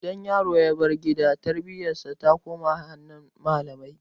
Idan yaro ya bar gida tarbiyyar sa ta koma hannun malamai